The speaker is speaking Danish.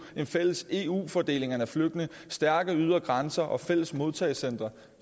en fælles eu fordeling af flygtninge stærke ydre grænser og fælles modtagecentre